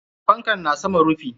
Fankan na saman rufi.